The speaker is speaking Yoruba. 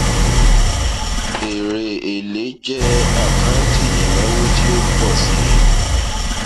èrè èlé jẹ àkáǹtì ìnáwó tí ó pọ sí